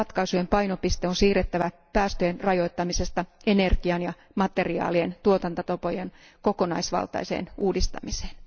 Ratkaisujen painopiste on siirrettävä päästöjen rajoittamisesta energian ja materiaalien tuotantotapojen kokonaisvaltaiseen uudistamiseen.